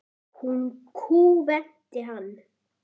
Nú kúventi hann.